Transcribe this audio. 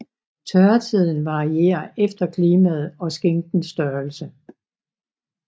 Tørretiden varierer efter klimaet og skinkens størrelse